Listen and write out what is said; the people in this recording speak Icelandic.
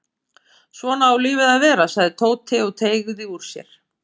Svona á lífið að vera sagði Tóti og teygði úr sér.